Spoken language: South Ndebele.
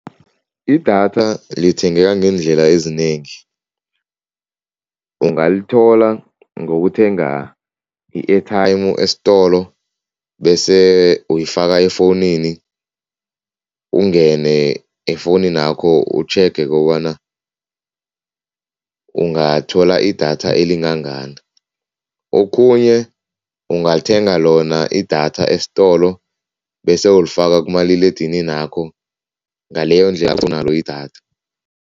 Idatha lithengeka ngeendlela ezinengi. Ungalithola ngokuthenga i-airtime eistolo bese uyifaka efowunini, ungene efowuninakho utjhege kobana ungathola idatha elingangani. Okhunye ungathenga lona idatha esitolo bese ulifaka kumaliledininakho, ngaleyondlela idatha.